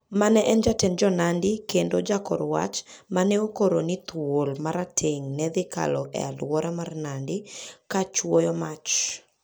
Mane en jatend Jo-Nandi kendo jakor wach ma ne okoro ni thuol ma rateng' ne dhi kalo e alwora mar Nandi kochuoyo mach.